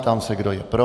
Ptám se, kdo je pro.